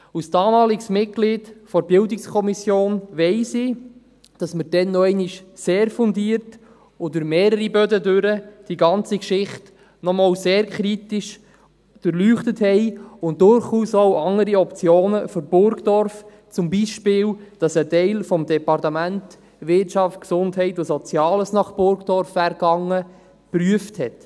Als damaliges Mitglied der BiK weiss ich, dass man die ganze Geschichte damals noch einmal sehr fundiert und durch mehrere Böden sehr kritisch durchleuchtet hat und durchaus auch andere Optionen für Burgdorf, zum Beispiel, dass ein Teil des Departements Wirtschaft, Gesundheit und Soziales nach Burdorf gegangen wäre, prüfte.